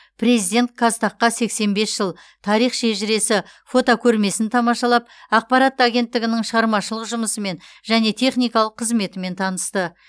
президент қазтаг қа сексен бес жыл тарих шежіресі фотокөрмесін тамашалап ақпарат агенттігінің шығармашылық жұмысымен және техникалық қызметімен танысты